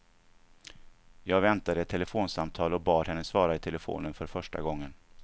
Jag väntade ett telefonsamtal och bad henne svara i telefonen för första gången.